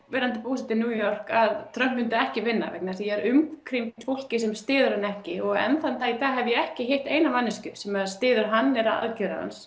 verandi búsett í New York að Trump myndi ekki vinna vegna þess að ég er umkringd fólki sem styður hann ekki og enn þann dag í dag hef ég ekki hitt eina einustu manneskju sem styður hann eða aðgerðir hans